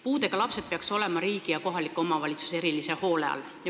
Puudega lapsed peaks olema riigi ja kohaliku omavalitsuse erilise hoole all.